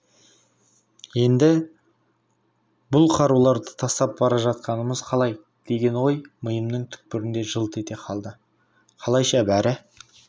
енді бұл қаруларды тастап бара жатқанымыз қалай деген ой миымның түкпірінде жылт ете қалды қалайша бәрі